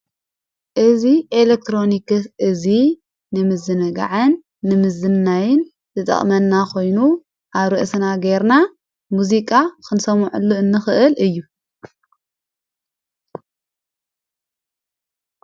እዝ ኤሌክትሮኒክስ እዙይ ንምዝነ ግዕን ንምዝናይን ዝጠቕመና ኾይኑ ኣርእስና ገይርና ሙዚቃ ክንሰምዕሉ እንኽእል እዩ።